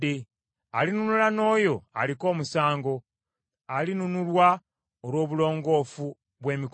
Alinunula n’oyo aliko omusango, alinunulwa olw’obulongoofu bw’emikono gyo.”